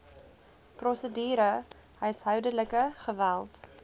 prosedure huishoudelike geweld